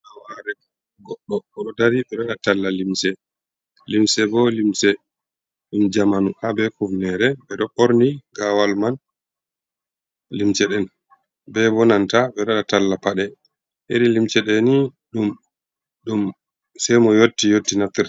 Gawaare goɗɗo o ɗo dari ɓe ngaɗa talla limse bo, limse ɗum jamanu ,haa be kufneere ,ɓe ɗo ɓorni gawal man. Limse ɗen be bo nanta, ɓe ngaɗa talla paɗe iri limse ɗe ni, ɗum ɗum sey mo yotti yotti naftirta.